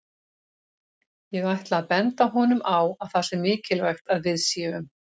Ég ætla að benda honum á að það sé mikilvægt að við séum